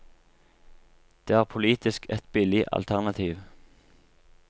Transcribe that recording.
Det er politisk et billig alternativ.